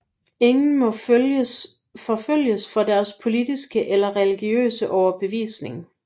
Ingen må forfølges for deres politiske eller religiøse overbevisning